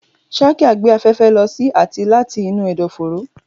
Trachea gbé afẹ́fẹ́ lọ sí àti láti inú ẹ̀dọ̀fóró.